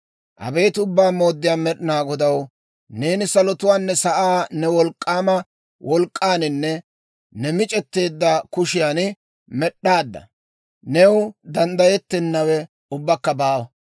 «Abeet Ubbaa Mooddiyaa Med'inaa Godaw, neeni salotuwaanne sa'aa ne wolk'k'aama wolk'k'aaninne ne mic'eteedda kushiyan med'd'aadda! New danddayettennawe ubbakka baawa.